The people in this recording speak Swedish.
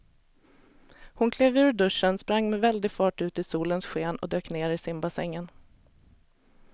Hon klev ur duschen, sprang med väldig fart ut i solens sken och dök ner i simbassängen.